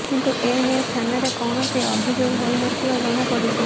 କିନ୍ତୁ ଏ ନେଇ ଥାନାରେ କୌଣସି ଅଭିଯୋଗ ହୋଇ ନ ଥିବା ଜଣାପଡ଼ିଛି